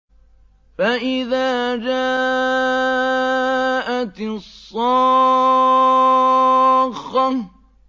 فَإِذَا جَاءَتِ الصَّاخَّةُ